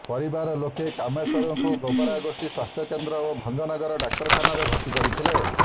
ପରିବାର ଲୋକେ କାମେଶ୍ୱରଙ୍କୁ ଗୋବରା ଗୋଷ୍ଠୀ ସ୍ୱାସ୍ଥ୍ୟକେନ୍ଦ୍ର ଓ ଭଞ୍ଜନଗର ଡାକ୍ତରଖାନାରେ ଭର୍ତ୍ତି କରିଥିଲେ